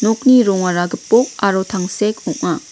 nokni rongara gipok aro tangsek ong·a.